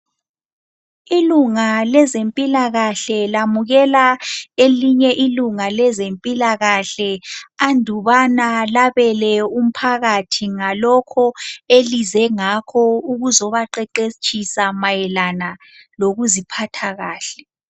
Ilunga lezempilakahle lamukela elinye ilunga lezempilakahle andubana labele umphakathi ngalokho elize ngakho ukuzobaqeqetshisa mayelana lokuziphatha kahle.